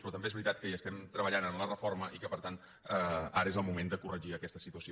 però també és veritat que hi estem treballant en la reforma i que per tant ara és el moment de corregir aquesta situació